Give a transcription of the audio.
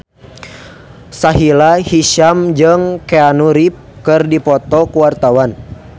Sahila Hisyam jeung Keanu Reeves keur dipoto ku wartawan